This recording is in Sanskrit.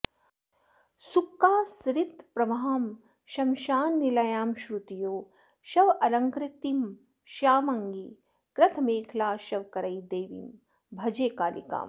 सृक्कासृत्प्रवहां श्मशाननिलयां श्रुत्योः शवालङ्कृतिं श्यामाङ्गीं कृतमेखलां शवकरैर्देवीं भजे कालिकाम्